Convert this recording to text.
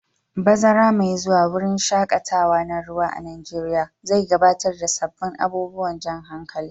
Bazara mai zuwa, wurin shaƙatawa na ruwa a Najeriya zai gabatar da sabbin abubuwan jan hankali.